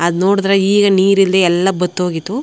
ಅದು ನೋಡಿದ್ರೆ ಈಗ ನೀರಿಲ್ಲದೆ ಎಲ್ಲ ಬತ್ತು ಹೋಗಿತ್ತು.